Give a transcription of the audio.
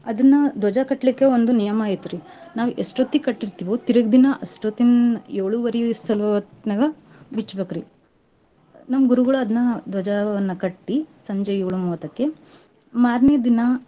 ಅದನ್ನ ದ್ವಜ ಕಟ್ಲಿಕ್ಕೆ ಒಂದು ನಿಯಮಾ ಐತ್ರೀ ನಾವ್ ಎಷ್ಟೊತ್ತಿಗ್ ಕಟ್ಟಿರ್ತಿವೋ ತೀರ್ಗ ದಿನಾ ಅಷ್ಟೊತ್ತಿನ್~ ಏಳುವರೀ ಸಲೋತ್ನಾಗ ಬಿಚ್ಚಬೇಕ್ರೀ. ನಮ್ ಗುರುಗಳ್ ಅದ್ನ ದ್ವಜವನ್ನ ಕಟ್ಟೀ ಸಂಜೆ ಏಳು ಮೂವತ್ತಕ್ಕೆ ಮಾರ್ನೆದಿನಾ.